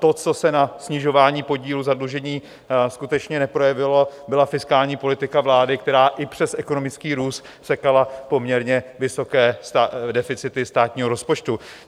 To, co se na snižování podílu zadlužení skutečně neprojevilo, byla fiskální politika vlády, která i přes ekonomický růst sekala poměrně vysoké deficity státního rozpočtu.